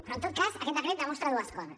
però en tot cas aquest decret demostra dues coses